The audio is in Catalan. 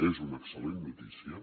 és una excel·lent notícia